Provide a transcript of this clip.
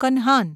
Kanhan